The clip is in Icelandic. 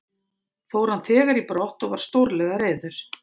Fór hann þegar í brott og var stórlega reiður.